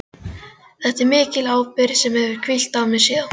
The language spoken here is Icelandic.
Þetta er mikil ábyrgð sem hefur hvílt á mér síðan.